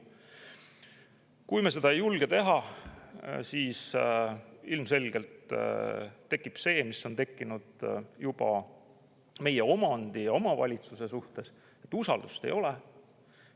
Kui me seda ei julge teha, siis ilmselgelt tekib see, mis on tekkinud juba meie omandi ja omavalitsuste suhtes, et usaldust ei ole.